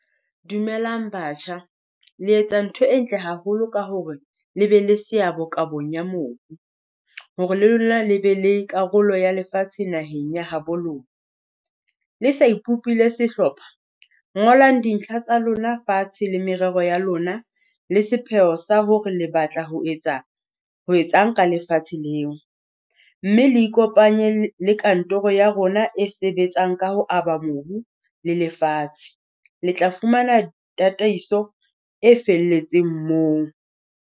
Dumelang batjha, le etsa ntho e ntle haholo ka hore le be le seabo kabong ya mobu. Hore le lona le be le karolo ya lefatshe naheng ya ha bo lona. Le sa ipopile sehlopha ngola dintlha tsa lona fatshe le merero ya lona, le sepheo sa hore le batla ho etsa ho etsang ka lefatshe leo. Mme le ikopanye le kantoro ya rona e sebetsang ka ho aba mobu, le lefatshe le tla fumana tataiso e felletseng moo.